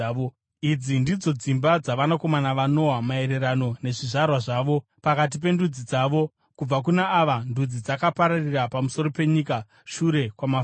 Idzi ndidzo dzimba dzavanakomana vaNoa maererano nezvizvarwa zvavo, pakati pendudzi dzavo. Kubva kuna ava ndudzi dzakapararira pamusoro penyika shure kwamafashamu.